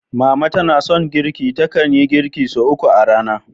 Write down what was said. Mama tana son girki, takan yi girki sau uku a rana.